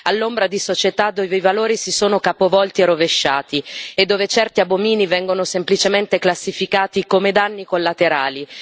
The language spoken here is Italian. all'ombra di società dove i valori si sono capovolti e rovesciati e dove certi abomini vengono semplicemente classificati come danni collaterali.